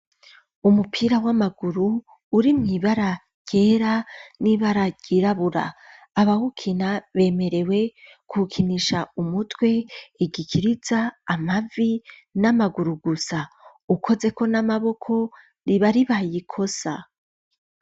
Umupira w'amaguru uri mw'ibara ryera n'ibara ryirabura ,abawukina bemerewe gukinisha umutwe, igikiriza ,amavi n'amaguru gusa, ukozeko n'amaboko riba ribaye ikosa.